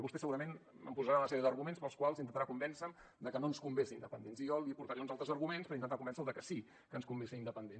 vostè segurament em posarà una sèrie d’arguments pels quals intentarà convèncer me que no ens convé ser independents i jo li portaré uns altres arguments per intentar convèncer lo que sí que ens convé ser independents